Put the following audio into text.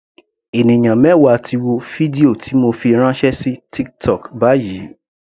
Ènìyàn mẹwa ti wo fídíò ti mo fi ránṣẹ́ sí TikTok báyìí.